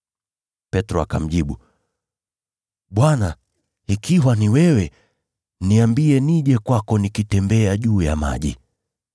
Petro akamjibu, “Bwana, ikiwa ni wewe, niambie nije kwako nikitembea juu ya maji.”